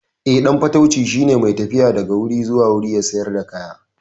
Eh, ɗan fatauci shine mai tafiya daga wuri zuwa wuri yana sayar da kaya.